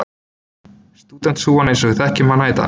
Stúdentshúfan eins og við þekkjum hana í dag.